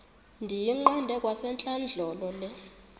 ndiyiqande kwasentlandlolo le